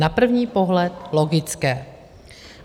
Na první pohled logické.